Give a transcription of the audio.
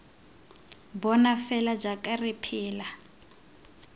bona fela jaaka re phela